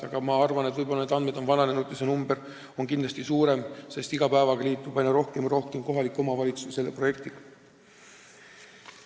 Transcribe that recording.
Tegelikult ma arvan, et võib-olla need andmed on vananenud ja see number on veel suurem, sest iga päevaga liitub aina rohkem ja rohkem kohalikke omavalitsusi selle projektiga.